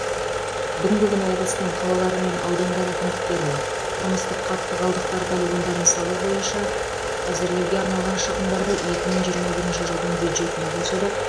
бүгінгі күні облыстың қалалары мен аудандары әкімдіктеріне тұрмыстық қатты қалдықтар полигондарын салу бойынша әзірлеуге арналған шығындарды екі мың жиырма бірінші жылдың бюджетіне қосуды